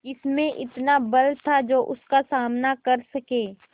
किसमें इतना बल था जो उसका सामना कर सके